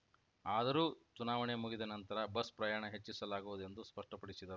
ಆದರೂ ಚುನಾವಣೆ ಮುಗಿದ ನಂತರ ಬಸ್‌ ಪ್ರಯಾಣ ಹೆಚ್ಚಿಸಲಾಗುವುದು ಎಂದು ಸ್ಪಷ್ಟಪಡಿಸಿದರು